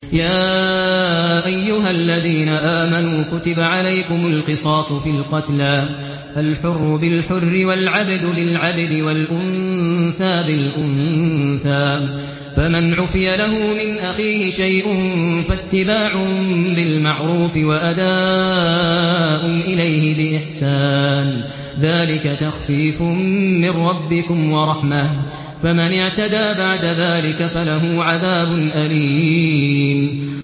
يَا أَيُّهَا الَّذِينَ آمَنُوا كُتِبَ عَلَيْكُمُ الْقِصَاصُ فِي الْقَتْلَى ۖ الْحُرُّ بِالْحُرِّ وَالْعَبْدُ بِالْعَبْدِ وَالْأُنثَىٰ بِالْأُنثَىٰ ۚ فَمَنْ عُفِيَ لَهُ مِنْ أَخِيهِ شَيْءٌ فَاتِّبَاعٌ بِالْمَعْرُوفِ وَأَدَاءٌ إِلَيْهِ بِإِحْسَانٍ ۗ ذَٰلِكَ تَخْفِيفٌ مِّن رَّبِّكُمْ وَرَحْمَةٌ ۗ فَمَنِ اعْتَدَىٰ بَعْدَ ذَٰلِكَ فَلَهُ عَذَابٌ أَلِيمٌ